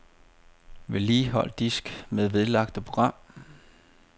Vedligehold disk med vedlagte program.